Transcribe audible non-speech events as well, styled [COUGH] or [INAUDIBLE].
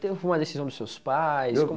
[UNINTELLIGIBLE] Foi uma decisão dos seus pais?